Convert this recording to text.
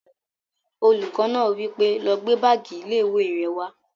Olùkọ́ náà wí pé, "lọ gbé báàgì ilé-ìwé rẹ wá!"